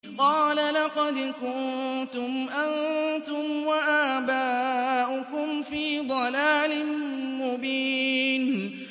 قَالَ لَقَدْ كُنتُمْ أَنتُمْ وَآبَاؤُكُمْ فِي ضَلَالٍ مُّبِينٍ